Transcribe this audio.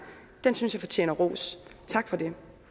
synes jeg fortjener ros tak for det